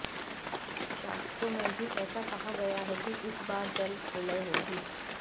शास्त्रों में भी ऐसा कहा गया है कि इस बार जल प्रलय होगी